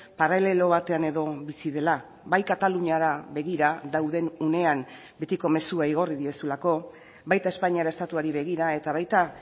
paralelo batean edo bizi dela bai kataluniara begira dauden unean betiko mezua igorri diezulako baita espainiar estatuari begira eta baita